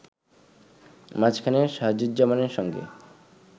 মাঝখানে শাহাদুজ্জামানের সঙ্গে